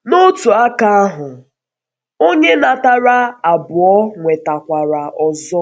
N’otu aka aka ahụ, onye natara abụọ um nwetara.